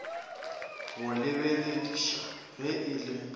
go lebelediša ge e le